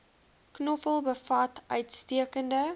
knoffel bevat uitstekende